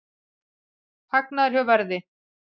Hagnaður hjá Verði